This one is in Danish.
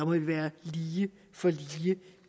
vel være lige for lige